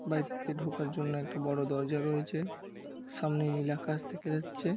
বাড়িটিতে ঢোকার জন্য একটি বড় দরজা রয়েছে। সামনে নীল আকাশ দেখা যাচ্ছে।